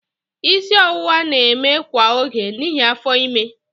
Isi ọwụwa na-eme kwa oge n'ihi afọ ime.